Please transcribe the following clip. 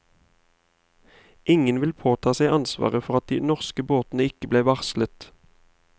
Ingen vil påta seg ansvaret for at de norske båtene ikke ble varslet.